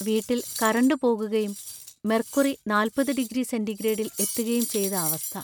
വീട്ടിൽ കറന്റ് പോകുകയും മെർക്കുറി നാൽപ്പത് ഡിഗ്രി സെന്റിഗ്രേഡിൽ എത്തുകയും ചെയ്ത അവസ്ഥ!